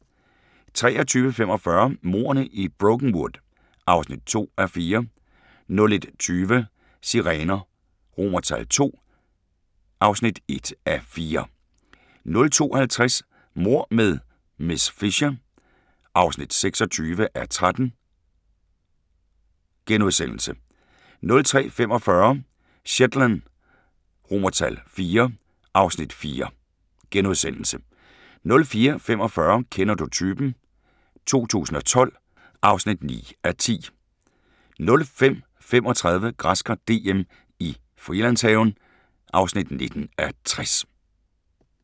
23:45: Mordene i Brokenwood (2:4) 01:20: Sirener II (1:4) 02:50: Mord med miss Fisher (26:13)* 03:45: Shetland IV (Afs. 4)* 04:45: Kender du typen? 2012 (9:10) 05:35: Græskar DM i Frilandshaven (19:60)